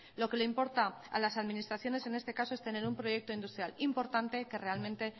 lo que le importa a las administraciones en este caso es tener un proyecto industrial importante y que realmente